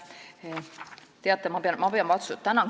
Tänan küsimuse eest!